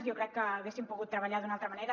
jo crec que haguéssim pogut treballar d’una altra manera